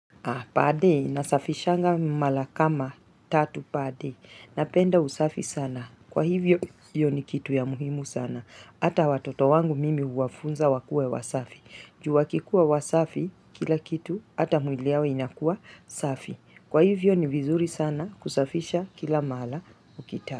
Per day nasafishanga mara kama tatu per day. Napenda usafi sana. Kwa hivyo hiyo ni kitu ya muhimu sana. Hata watoto wangu mimi huwafunza wakuwe wasafi. Juu wakikuwa wasafi kila kitu hata mwili yao inakua safi. Kwa hivyo ni vizuri sana kusafisha kila mara ukitaka.